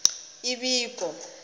ibiko